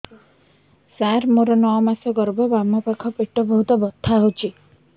ସାର ମୋର ନଅ ମାସ ଗର୍ଭ ବାମପାଖ ପେଟ ବହୁତ ବଥା ହଉଚି